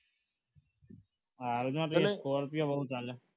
હા એમાં ફરકે scorepio બહુ ચાલે